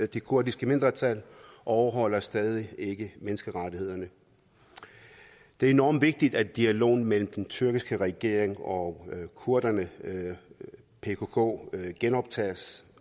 det kurdiske mindretal og overholder stadig ikke menneskerettighederne det er enormt vigtigt at dialogen mellem den tyrkiske regering og kurderne pkk genoptages